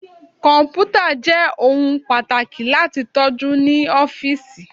Kọmputa jẹ ohun pataki lati tọju ni ọfiisi